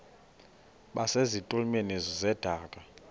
base zitulmeni zedaka